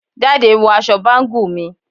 Jade wọ awọn bangle mi